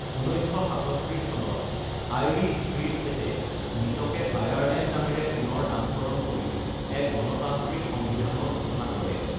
১৯৩৭ চনত Irish free ষ্টেটে নিজকে আয়াৰলেণ্ড নামেৰে পুনৰ নামকৰণ কৰি এক গণতান্ত্ৰিক সংবিধানৰ সূচনা কৰে।